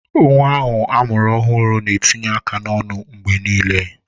Nwa ọhụrụ a mụrụ na-etinye aka n'ọnụ mgbe niile.